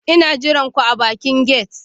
Ina jiran ku a bakin gate